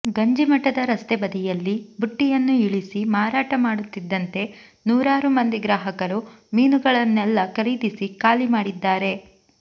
ಗಂಜಿಮಠದ ರಸ್ತೆ ಬದಿಯಲ್ಲಿ ಬುಟ್ಟಿಯನ್ನು ಇಳಿಸಿ ಮಾರಾಟ ಮಾಡುತ್ತಿದ್ದಂತೆ ನೂರಾರು ಮಂದಿ ಗ್ರಾಹಕರು ಮೀನುಗಳನ್ನೆಲ್ಲಾ ಖರೀದಿಸಿ ಖಾಲಿ ಮಾಡಿದ್ದಾರೆ